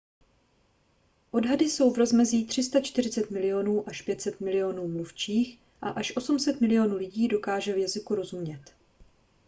odhady jsou v rozmezí 340 milionů až 500 milionů mluvčích a až 800 milionů lidí dokáže jazyku rozumět